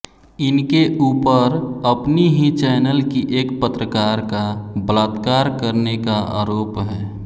इनके ऊपर अपनी ही चैनल की एक पत्रकार का बलात्कार करने का आरोप है